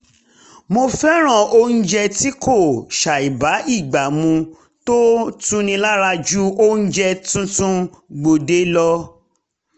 mo fẹ́ràn oúnjẹ tí kò ṣàìbágbà mu tó tuni lára ju oúnjẹ tuntun gbòde lọ